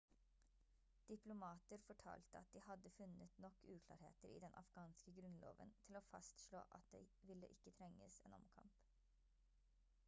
diplomater fortalte at de hadde funnet nok uklarheter i den afghanske grunnloven til å fastslå at det ville ikke trenges en omkamp